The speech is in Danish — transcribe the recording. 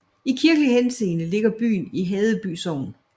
I kirkelig henseende ligger byen i Haddeby Sogn